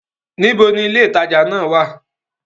Níbo ni ilé ìtajà náà wà?